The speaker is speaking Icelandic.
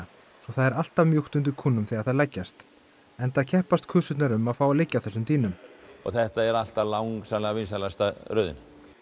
það er alltaf mjúkt undir kúnum þegar þær leggjast enda keppast kusurnar um að fá að liggja á þessum dýnum þetta er alltaf langsamlega vinsælasta röðin